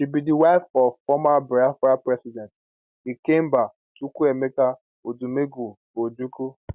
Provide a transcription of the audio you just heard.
she be di wife of former biafran president ikemba chukuemeka odumegwu ojukwu